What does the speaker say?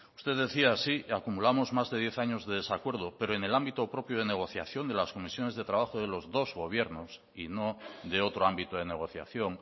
usted decía sí que acumulamos más de diez años de desacuerdo pero en el ámbito propio de negociación de las comisiones de trabajo de los dos gobiernos y no de otro ámbito de negociación